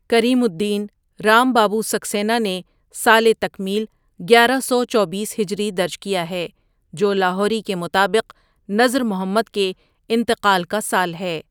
کریم الدین، رام بابو سکسینہ نے سالِ تکمیل گیارہ سو چوبیس ہجری درج کیا ہے جو لاہوری کے مطابق نذر محمد کے انتقال کا سال ہے ۔